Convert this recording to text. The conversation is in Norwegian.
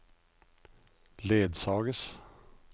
ledsages